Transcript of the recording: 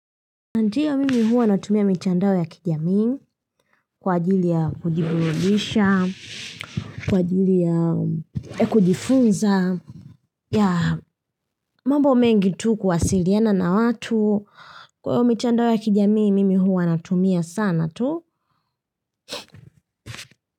Ndiyo mimi huwa natumia mitandao ya kijamii kwa ajili ya kujiburudisha, kwa ajili ya kujifunza, ya, mambo mengi tu kuwasiliana na watu, kwa hiyo mitandao ya kijamii mimi huwa natumia sana, tu.